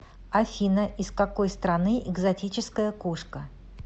афина из какой страны экзотическая кошка